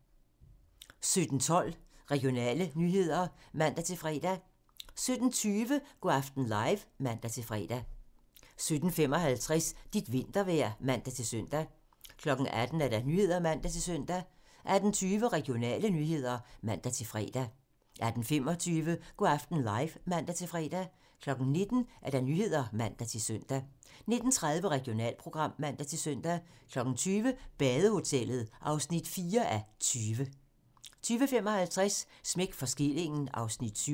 17:12: Regionale nyheder (man-fre) 17:20: Go' aften live (man-fre) 17:55: Dit vintervejr (man-søn) 18:00: Nyhederne (man-søn) 18:20: Regionale nyheder (man-fre) 18:25: Go' aften live (man-fre) 19:00: Nyhederne (man-søn) 19:30: Regionalprogram (man-søn) 20:00: Badehotellet (4:20) 20:55: Smæk for skillingen (Afs. 7)